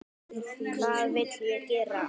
Hvað vill ég gera?